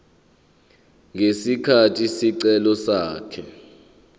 ngesikhathi isicelo sakhe